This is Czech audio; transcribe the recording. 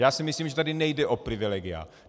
Já si myslím, že tady nejde o privilegia.